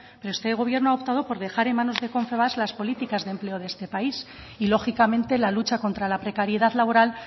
pero este gobierno ha optado por dejar en manos de confebask las políticas de empleo de este país y lógicamente la lucha contra la precariedad laboral